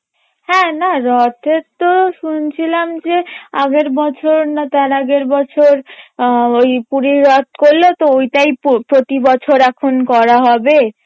হ্যাঁ না রথের তো শুনছিলাম যে আগের বছর না তার আগের বছর আহ ওই পুরীর রথ করলো তো এখন প্রতি বছর এখন করা হবে